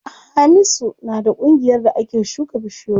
Hamisu na da ƙungiyar da ake shuka bishiyoyi.